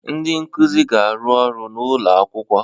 Ndị nkuzi na-arụ ọrụ n'ụlọ akwụkwọ